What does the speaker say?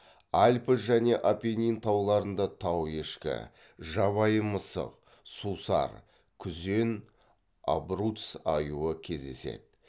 альпі және апеннин тауларында тау ешкі жабайы мысық сусар күзен абруц аюы кездеседі